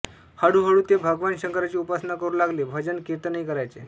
हळूहळू ते भगवान् शंकराची उपासना करू लागले भजन कीर्तनही करायचे